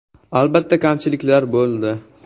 Albatta, kamchiliklar bo‘ldi.